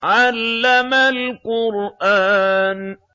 عَلَّمَ الْقُرْآنَ